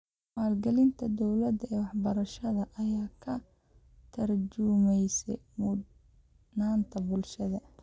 Maalgelinta dawladda ee waxbarashada ayaa ka tarjumaysa mudnaanta bulshada.